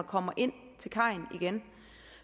kommer ind til kajen